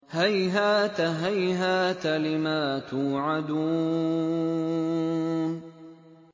۞ هَيْهَاتَ هَيْهَاتَ لِمَا تُوعَدُونَ